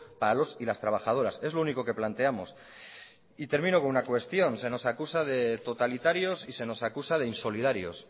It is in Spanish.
para los y las trabajadoras es lo único que planteamos y termino con una cuestión se nos acusa de totalitarios y se nos acusa de insolidarios